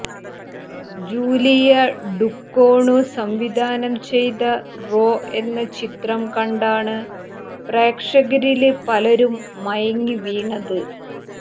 Julia Ducournau സംവിധാനം ചെയ്ത Raw എന്ന ചിത്രം കണ്ടാണ് പ്രേക്ഷകരില് പലരും മയങ്ങിവീണത്